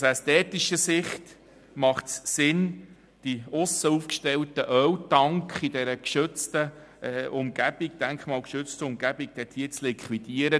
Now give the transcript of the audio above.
Aus ästhetischer Sicht macht es Sinn, die im Aussenbereich aufgestellten Öltanks in dieser denkmalgeschützten Umgebung zu liquidieren.